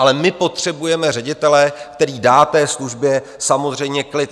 Ale my potřebujeme ředitele, který dá té službě samozřejmě klid.